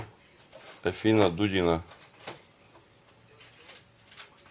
афина дудина